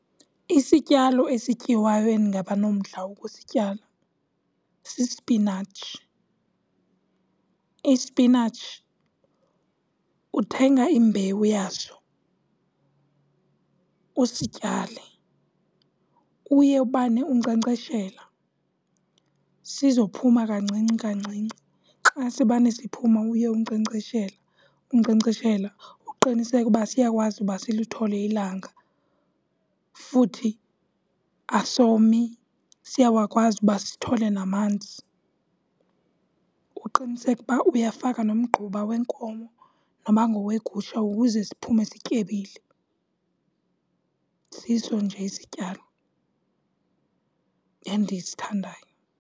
Isityalo esityiwayo endingaba nomdla wokusityala sisipinatshi. Isipinatshi, uthenga imbewu yaso usityale. Uye ubane unkcenkceshela sizophuma kancinci kancinci. Xa sibane siphuma, uye unkcenkceshela unkcenkceshela uqiniseke uba siyakwazi uba silithole ilanga futhi asomi, siyawakwazi uba sithole namanzi. Uqiniseke uba uyafaka nomgquba wenkomo noba ngowegusha ukuze siphume sityebile. Siso nje isityalo endisithandayo.